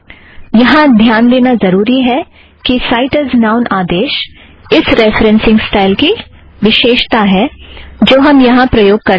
यहाँ ध्यान देना ज़रुरी है कि साइट ऐज़ नाउन आदेश इस रेफ़रेन्ससिंग स्टाइल की विशेषता है जो हम यहाँ प्रयोग कर रहे हैं